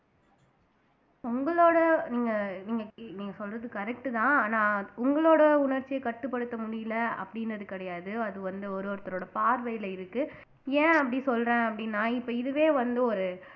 உங்களோட நீங்க நீங்க கே சொல்றது correct தான் ஆனா உங்களோட உணர்ச்சியை கட்டுப்படுத்த முடியல அப்படின்னு அது கிடையாது அது வந்து ஒரு ஒருத்தரோட பார்வையில இருக்கு ஏன் அப்படி சொல்றேன் அப்படின்னா இப்ப இதுவே வந்து ஒரு